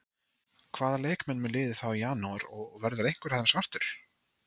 Hvaða leikmenn mun liðið fá í janúar og verður einhver af þeim svartur?